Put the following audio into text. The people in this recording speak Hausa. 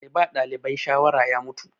Mai ba ɗalibai shawara ya mutu.